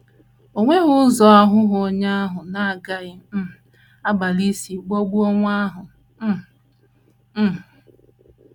O nweghị ụzọ aghụghọ onye ahụ na - agaghị um agbalị isi ghọgbuo nwa ahụ um. um